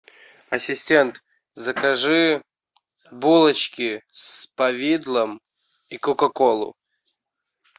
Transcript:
ассистент закажи булочки с повидлом и кока колу